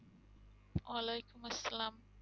ওয়ালেকুম আসসালাম।